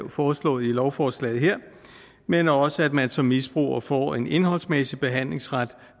foreslået i lovforslaget her men også at man som misbruger får en indholdsmæssig behandlingsret